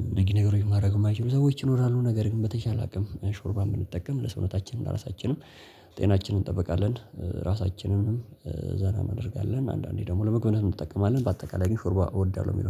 እንደዚህ ነገሮችን ማድረግ የማይችሉ ሰዎች ይኖራሉ ነገር ግን በተቻለ አቅም ሾርባ የምንጠቀም ለሰውነታችን ለራሳችንም ጤናችንን እንጠብቃለን። ራሳችንንም ዘና እንደርጋለን አንዳንዴ ደግሞ ለመጎብነት እንጠቀማለን። በአጠቃላይ ግን ሾርቧ እወዳለሁ የሚለው